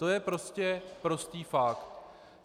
To je prostě prostý fakt.